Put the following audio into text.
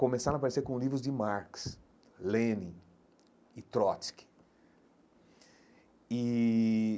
Começaram a aparecer com livros de Marx, Lenin e Trotsky e.